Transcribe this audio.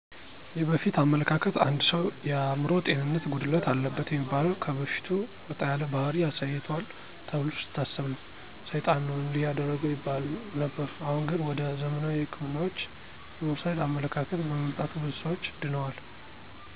የበፊቱ አመለካከት አንድ ሰው የአምሮ ጤንነት ጉድለት አለበት የሚበላው ከበፊቱ ወጣ ያለ ባሕሪ አሳይቶል ተብሎ ሲታሰብ ነው። ሳይጣን ነው እንዲህ ያደረገው ይባል ነበር። አሁን ግን ወደ ዘመናዊ ህክምናዎች የመውሰድ አመለካከት በመምጣቱ ብዙ ሰዎች ድነዋል።